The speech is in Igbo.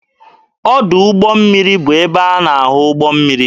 Ọdụ ụgbọ mmiri bụ ebe a na-ahụ ụgbọ mmiri.